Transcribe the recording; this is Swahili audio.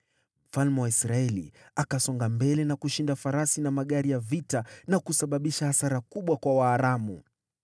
Mfalme wa Israeli akasonga mbele na kushinda farasi na magari ya vita na kusababisha hasara kubwa kwa Waaramu.